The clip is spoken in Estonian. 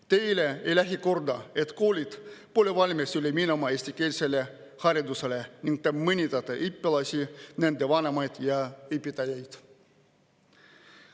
Teile ei lähe korda, et koolid pole valmis üle minema eestikeelsele haridusele, ning te mõnitate õpilasi, nende vanemaid ja õpetajaid.